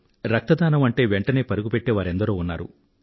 రక్తదానం అంటే వెనువెంటనే పరుగు పెట్టే వారెందరో ఉన్నారు